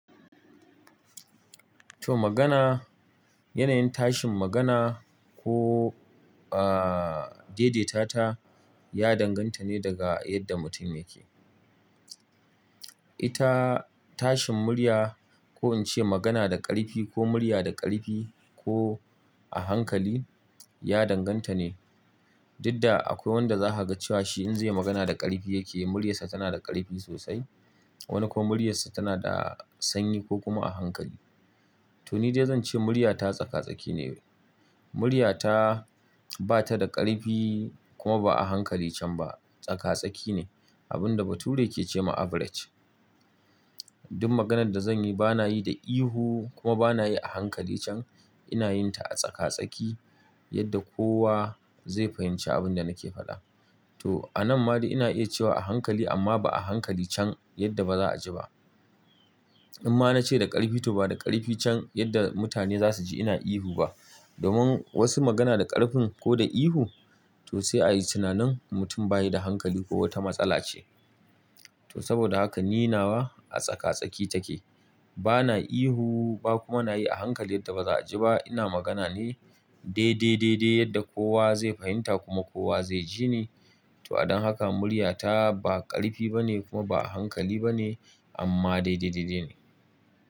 To magana, yanayin tashin magana ko, uh, daidaitata ya danganta ne daga yadda mutum yake. Ita tashin murya ko in ce magana da ƙarfi ko murya da ƙarfi ko a hankali ya danganta ne. Dudda akwai wanda za ka ga cewa shi in zai yi magana da ƙarfi yake, muryarsa tana da ƙarfi sosai. Wani kuma muryarsa tana da sanyi ko kuma a hankali. To ni dai zan ce muryata tsaka-tsaki ne. Muryata ba ta da ƙarfi kuma ba a hankali can ba, tsaka-tsaki ne. Abun da bature yake ce ma average. Duk maganan da zan yi bana yi da ihu kuma bana yi a hankali can. Ina yin ta a tsaka-tsaki yadda kowa zai fahimci abin da nake faɗa. To a nan ma dai ina iya cewa a hankali amma ba a hankali can yadda ba za a ji ba. In ma na ce da ƙarfi to ba da ƙarfi can yadda mutane za su ji ina ihu ba. Domin wasu magana da ƙarfin ko da ihu to sai a yi tunanin mutum bayi da hankali ko wata matsala ce. To saboda haka ni nawa a tsaka-tsaki take. Bana ihu ba kuma na yi a hankali yadda ba za a ji ba. Ina magana ne daidai daidai yadda kowa zai fahimta kuma kowa zai jini. To don haka muryata ba ƙarfi ba ne kuma ba a hankali ba ne amma daidai daidai ne.